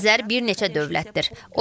Xəzər bir neçə dövlətdir.